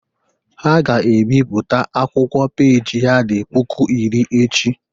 Ha ga-ebipụta akwụkwọ peji ya dị puku iri echi